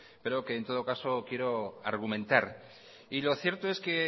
pero que en todo caso quiero argumentar y lo cierto es que